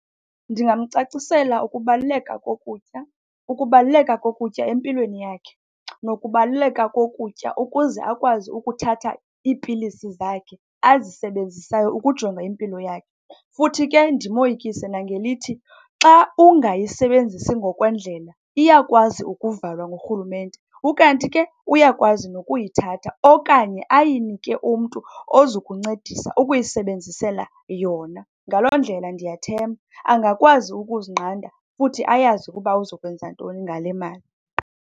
Ndingamcacisela ukubaluleka kokutya, ukubaluleka kokutya empilweni yakhe nokubaluleka kokutya ukuze akwazi ukuthatha iipilisi zakhe azisebenzisayo ukujonga impilo yakhe. Futhi ke ndimoyikise nangelithi, xa ungayisebenzisi ngokwendlela, iyakwazi ukuvalwa ngurhulumente, ukanti ke uyakwazi nokuyithatha okanye ayinike umntu ozokuncedisa ukuyisebenzisela yona. Ngaloo ndlela ndiyathemba angakwazi ukuzinqanda, futhi ayazi ukuba uzokwenza ntoni ngale mali.